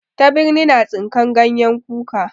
Tabirni na tsinkan ganyen kuka.